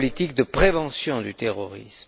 C'est la politique de prévention du terrorisme.